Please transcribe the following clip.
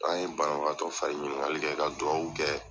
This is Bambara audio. An ye banbagatɔ fariri ɲininkali kɛ ka dugawu kɛ